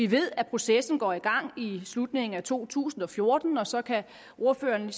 vi ved at processen går i gang i slutningen af to tusind og fjorten og så kan ordføreren